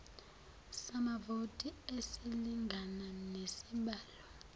samavoti esilingana nesibalo